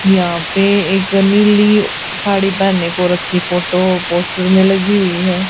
यहाँ पे एक नीली साड़ी पहनों को रखीं फोटो पोस्टर में लगी हुई हैं।